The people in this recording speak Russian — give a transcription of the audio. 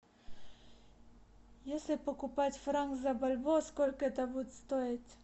если покупать франк за бальбоа сколько это будет стоить